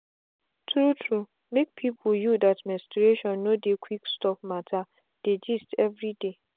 true truemake people you that menstruation no dey quick stop matter dey gist everyday.